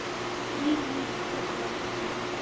Drífa mín- kallaði pabbi hennar.